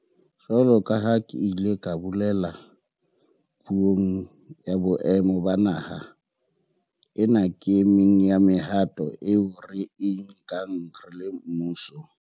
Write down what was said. Jwalo ka ha ke ile ka bolela Puong ya Boemo ba Naha, ena ke e meng ya mehato eo re e nkang re le mmuso